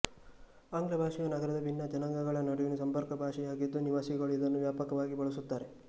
ಆಂಗ್ಲ ಭಾಷೆಯು ನಗರದ ಭಿನ್ನ ಜನಾಂಗಗಳ ನಡುವಿನ ಸಂಪರ್ಕ ಭಾಷೆ ಯಾಗಿದ್ದೂ ನಿವಾಸಿಗಳು ಇದನ್ನು ವ್ಯಾಪಕವಾಗಿ ಬಳಸುತ್ತಾರೆ